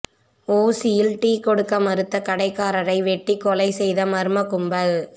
ஓசியில் டீ கொடுக்க மறுத்த கடைக்காரரை வெட்டி கொலை செய்த மர்ம கும்பல்